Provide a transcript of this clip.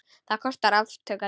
Það kostar átök að lifa.